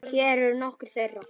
Hér eru nokkur þeirra.